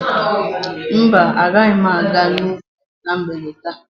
Mba, agaghị m aga n'ubi na mgbede taa.